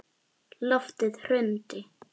Loftið hrundi.